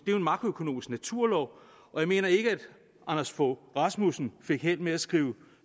jo en makroøkonomisk naturlov og jeg mener ikke at anders fogh rasmussen fik held med at skrive